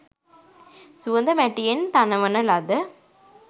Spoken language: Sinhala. සුවඳ මැටියෙන් තනවන ලද